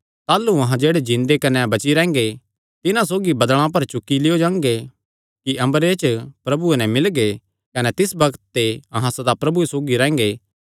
ताह़लू अहां जेह्ड़े जिन्दे कने बची रैंह्गे तिन्हां सौगी बदल़ां पर चुक्की लियो जांगे कि अम्बरे च प्रभुये नैं मिलगे कने तिस बग्त ते अहां सदा प्रभुये सौगी रैंह्गे